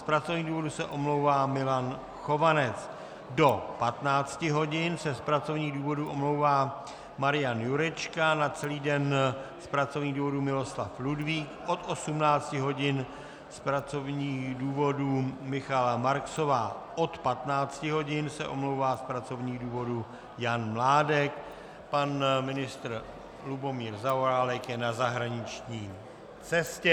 Z pracovních důvodů se omlouvá Milan Chovanec, do 15 hodin se z pracovních důvodů omlouvá Marian Jurečka, na celý den z pracovních důvodů Miloslav Ludvík, od 18 hodin z pracovních důvodů Michaela Marksová, od 15 hodin se omlouvá z pracovních důvodů Jan Mládek, pan ministr Lubomír Zaorálek je na zahraniční cestě.